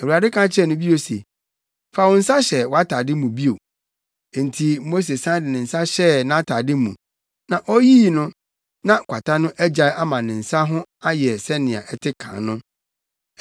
Awurade ka kyerɛɛ no bio se, “Fa wo nsa hyɛ wʼatade mu bio.” Enti Mose san de ne nsa hyɛɛ nʼatade mu, na oyii no, na kwata no agyae ama ne nsa no ho ayɛ sɛnea ɛte kan no.